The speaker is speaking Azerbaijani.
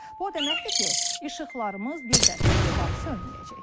Bu o deməkdir ki, işıqlarımız bir də heç vaxt sönməyəcək.